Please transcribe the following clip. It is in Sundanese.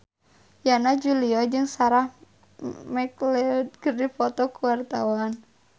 Yana Julio jeung Sarah McLeod keur dipoto ku wartawan